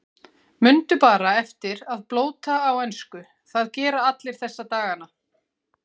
Mundu bara eftir að blóta á ensku, það gera allir þessa dagana.